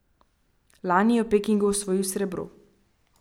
Lani je v Pekingu osvojil srebro.